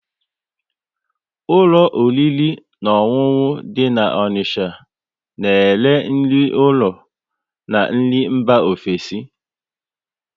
Ụlọ oriri na ọṅụṅụ dị na Onicha na ere nri ụlọ na nri mba ofesi